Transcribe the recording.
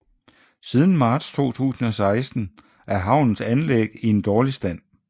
Siden marts 2016 er havnens anlæg i en dårlig stand